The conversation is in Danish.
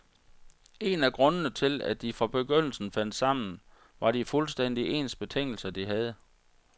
En af grundene til, at de fra begyndelsen fandt sammen, var de fuldstændig ens betingelser, de havde.